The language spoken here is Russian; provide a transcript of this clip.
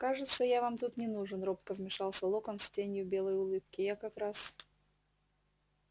кажется я вам тут не нужен робко вмешался локонс с тенью белой улыбки я как раз